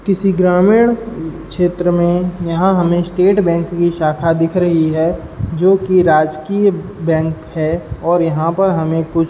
किसी ग्रामीण उ क्षेत्र में यहाँ हमें स्टेट बैंक की शाखा दिख रही है जोकि राजकीय बैंक है और यहाँ पर हमें कुछ --